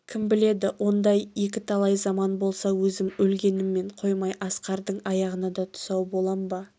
кім біледі ондай екі талай заман болса өзім өлгеніммен қоймай асқардың аяғына да тұсау болам ба